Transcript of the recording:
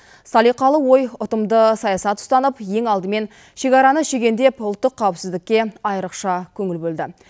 салиқалы ой ұтымды саясат ұстанып ең алдымен шекараны щегендеп ұлттық қауіпсіздікке айрықша көңіл бөлді